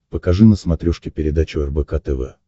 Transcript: покажи на смотрешке передачу рбк тв